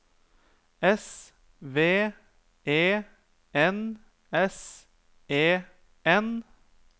S V E N S E N